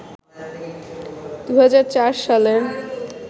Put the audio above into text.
২০০৪ সালের